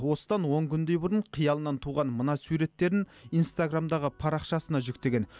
осыдан он күндей бұрын қиялынан туған мына суреттерін инстаграммдағы парақшасына жүктеген